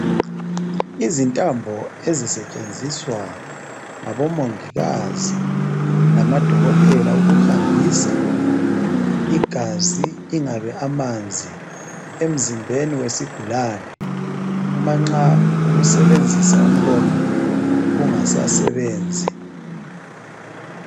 Izintambo ezisetshenziswa ngabomongikazi lama dokotela ukuhambisa igazi ingabe amanzi emzimbeni wesigulani umanxa ukusebenzisa umlomo kungasasebenzi.